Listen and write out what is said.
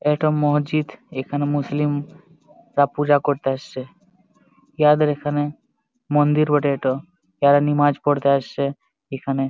ইটা মসজিদ। এখানে মুসলিম রা পূজা করতে এসেছে। ইহাদের এখানে মন্দিরে বটে এটো। যারা নামাজ পড়তে আসছে এখানে।